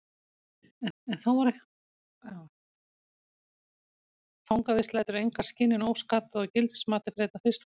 Fangavist lætur enga skynjun óskaddaða og gildismatið fer einna fyrst forgörðum.